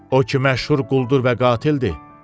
O ki məşhur quldur və qatildir.